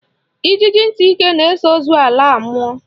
Ijiji ntị ike na-eso ozu ala a mmụọ